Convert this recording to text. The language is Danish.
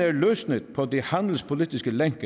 er løsnet på de handelspolitiske lænker